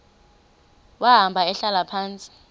wahamba ehlala phantsi